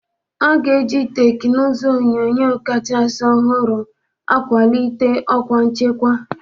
A ga-eji teknụzụ onyunyo kachasị ọhụrụ kwalite ọkwa nchekwa.